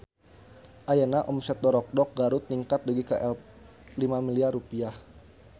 Ayeuna omset Dorokdok Garut ningkat dugi ka 5 miliar rupiah